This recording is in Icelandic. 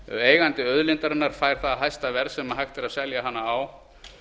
eigandi auðlindarinnar fær það hæsta verð sem hægt er að selja hana á